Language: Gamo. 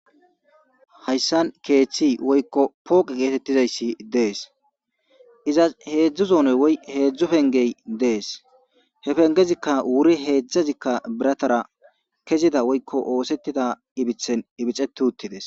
Hayssan keeththi woykko pooqe geetettizayssi dees izas heedzdzu zoonoy woy heedzdzu pengey dees. he pengezikka wuri heedzdzazikka biratara kezida woykko oosettida ibithen ibiceti uttides.